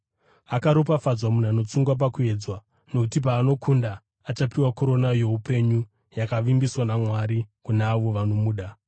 Akaropafadzwa munhu anotsunga pakuedzwa, nokuti paanokunda, achapiwa korona youpenyu yakavimbiswa naMwari kuna avo vanomuda.